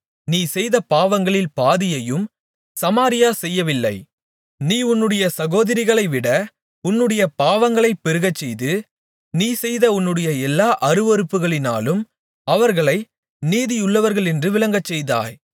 நீ செய்த பாவங்களில் பாதியையும் சமாரியா செய்யவில்லை நீ உன்னுடைய சகோதரிகளைவிட உன்னுடைய பாவங்களைப் பெருகச்செய்து நீ செய்த உன்னுடைய எல்லா அருவருப்புகளினாலும் அவர்களை நீதியுள்ளவர்களென்று விளங்கச்செய்தாய்